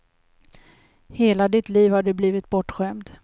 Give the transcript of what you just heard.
Hela ditt liv har du blivit bortskämd.